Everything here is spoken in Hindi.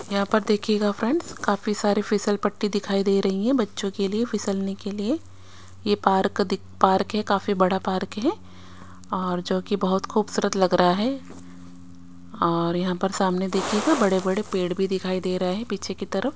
यहाँ पर देखियेगा फ्रेंड्स काफी सारे फिसल पट्टी दिखाई दे रही हैं बच्चो के लिए फिसलने के लिए ये पार्क दिक पार्क है काफी बड़ा पार्क हे और जो कि बहोत खुबसूरत लगरा है और यहाँ पर सामने देखियेगा बड़े बड़े पेड़ भी दिखाई दे रहे है पीछे की तरफ--